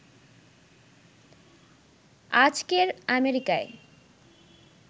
আজকের আমেরিকায়